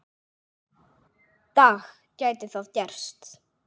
dag gæti það gerst.